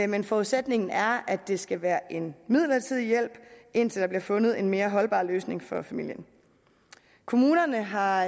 men forudsætningen er at det skal være en midlertidig hjælp indtil der bliver fundet en mere holdbar løsning for familien kommunerne har